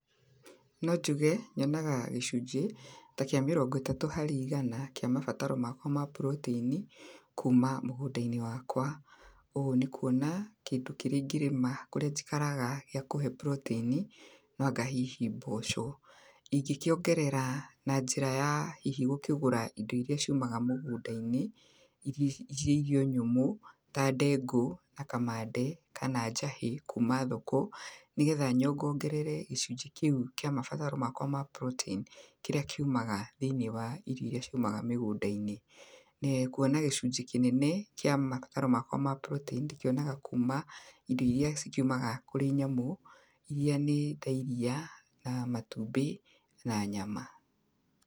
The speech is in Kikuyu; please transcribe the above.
Nonjuge nyonaga gĩcunje ta kia mĩrongo ĩtatũ harĩ igana kia mabataro makwa ma protein kũma mũgunda-inĩ wakwa, ũũ nĩ kũona kĩndũ kĩrĩa ĩngĩrĩma kũrĩa njĩkaraga gĩa kũhe protein no anga hihi mboco, ingĩkĩongerera na njĩra ya hihi gũkĩgũra indo iria ciumaga mũgũnda-inĩ cĩrĩ irio nyũmũ ta ndengũ, na kamande, kana njahĩ kũma thoko, nĩgetha nyongongerere gĩcũnje kĩu kia mabataro makwa ma protein kĩrĩa kĩumaga thĩiniĩ wa irio iria ciumaga mĩgũnda-inĩ, nĩ kuona gĩcunjĩ kĩnene kia mabataro makwa ma protein ndĩkĩonaga kũma indo iria cikiumaga kũrĩ nyamũ, irĩa nĩ ta iria na matumbĩ na nyama.